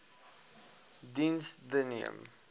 diens the neem